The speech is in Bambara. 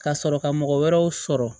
Ka sɔrɔ ka mɔgɔ wɛrɛw sɔrɔ